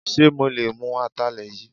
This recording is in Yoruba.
Ṣe mo lè mú Atalẹ yìí?